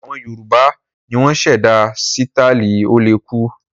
Àwọn Yorùbá ni wọ́n ṣẹ̀dá sítáálì ó-le-kú.